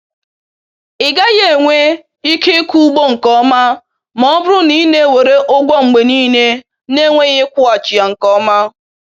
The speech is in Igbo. Ị gaghị enwe ike ịkụ ugbo nke ọma ma ọ bụrụ na ị na-ewere ụgwọ mgbe niile na-enweghị ịkwụghachi ya nke ọma